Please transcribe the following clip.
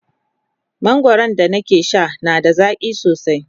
mangwaran da na ke Sha na da zaƙi sosai